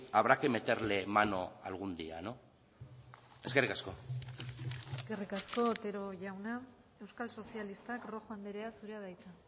habrá que meterle mano algún día no eskerrik asko eskerrik asko otero jauna euskal sozialistak rojo andrea zurea da hitza